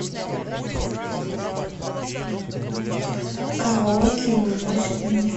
караоке и уносят меня